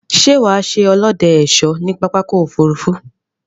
Sé wà á se olóde/ésó ní pápákò òfurufú